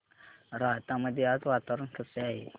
राहता मध्ये आज वातावरण कसे आहे